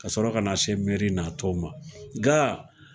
Ka sɔrɔ ka na se meri n'a tɔ ma ga